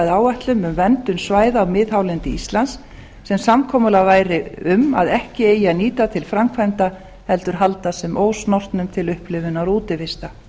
áætlun um verndun svæða á miðhálendi íslands sem samkomulag væri um að ekki eigi að nýta til framkvæmda heldur halda sem ósnortnum til upplifunar og útivistar